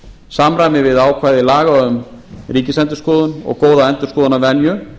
samræmi við ákvæði laga um ríkisendurskoðun og góða endurskoðunarvenju